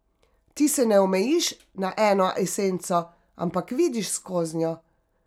Ti se ne omejiš na eno esenco, ampak vidiš skoznjo.